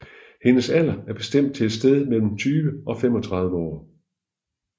Hendes alder er bestemt til et sted mellem 20 og 35 år